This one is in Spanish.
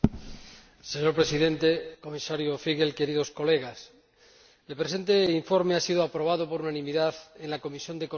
Señor Presidente, Comisario Figel', queridos colegas, el presente informe ha sido aprobado por unanimidad en la Comisión de Economía.